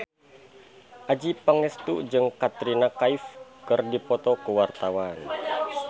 Adjie Pangestu jeung Katrina Kaif keur dipoto ku wartawan